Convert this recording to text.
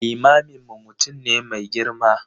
Limaminmu mutum ne mai girma.